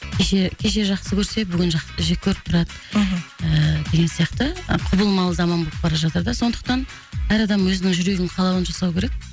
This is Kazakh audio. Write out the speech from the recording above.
кеше кеше жақсы көрсе бүгін жек көріп тұрады мхм ііі деген сияқты құбылмалы заман болып бара жатыр да сондықтан әр адам өзінің жүрегінің қалауын жасау керек